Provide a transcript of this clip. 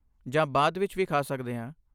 ਜਾਂ ਬਾਅਦ ਵਿੱਚ ਵੀ ਖਾ ਸਕਦੇ ਹਾਂ।